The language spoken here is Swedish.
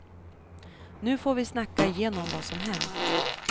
Nu får vi snacka igenom vad som hänt.